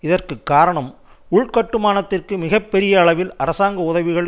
இதற்கு காரணம் உள்கட்டுமானத்திற்கு மிக பெரிய அளவில் அரசாங்க உதவிகள்